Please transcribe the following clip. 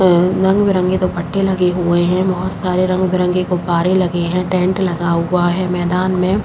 अ रंग-बिरंगे दुपट्टे लगे हुए हैं। बहोत सारे रंग-बरंगे गुब्बारे लगे हैं। टेंट लगा हुआ है मैदान में --